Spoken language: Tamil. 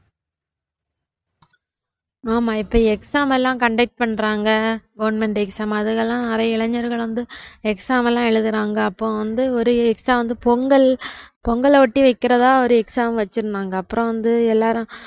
ஆமா இப்ப exam எல்லாம் conduct பண்றாங்க governmentexam அதுலலாம் நிறைய இளைஞர்கள் வந்து exam எல்லாம் எழுதுறாங்க அப்ப வந்து ஒரு exam வந்து பொங்கல் பொங்கல ஒட்டி வக்கிறதா ஒரு exam வச்சிருந்தாங்க அப்புறம் வந்து எல்லாரும்